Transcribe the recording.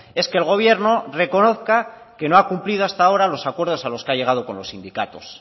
es que el gobierno reconozca que no ha cumplido hasta ahora los acuerdos a los que ha llegado con los sindicatos